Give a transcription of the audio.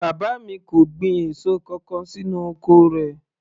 Bàbá mi kò gbin èso kankan sínú oko rẹ̀